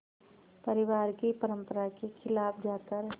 परिवार की परंपरा के ख़िलाफ़ जाकर